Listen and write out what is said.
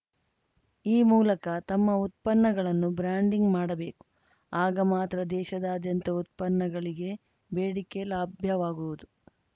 ಈ ಮೂಲಕ ತಮ್ಮ ಉತ್ಪನ್ನಗಳನ್ನು ಬ್ರಾಂಡಿಂಗ್‌ ಮಾಡಬೇಕು ಆಗ ಮಾತ್ರ ದೇಶದಾದ್ಯಂತ ಉತ್ಪನ್ನಗಳಿಗೆ ಬೇಡಿಕೆ ಲಭ್ಯವಾಗುವುದು